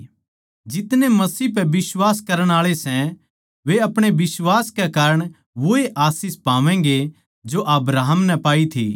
जितने मसीह पै बिश्वास करण आळे सै वे अपणे बिश्वास के कारण वोए आशीष पावैंगें जो अब्राहम नै पाई थी